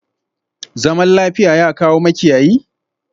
Zaman lafiya, ya kawo makiyayi?